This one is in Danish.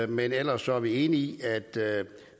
men ellers er vi enige